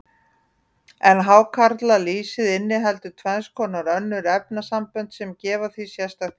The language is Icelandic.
En hákarlalýsið inniheldur tvenns konar önnur efnasambönd, sem gefa því sérstakt gildi.